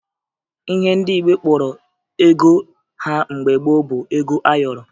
Ihe ndị Igbo kpọrọ ego ha mgbe gboo bụ ego ayọrọ